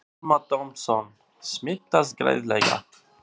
Telma Tómasson: Smitast greiðlega?